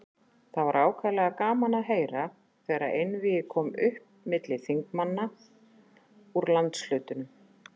Það var ákaflega gaman að heyra, þegar einvígi kom upp milli þingmanna úr landshlutunum.